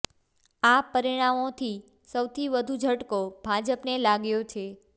આ પરિણામોથી સૌથી વધુ ઝટકો ભાજપને લાગ્યો છે